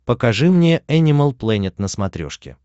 покажи мне энимал плэнет на смотрешке